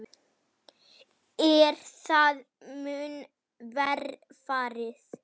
Er það mun verr farið.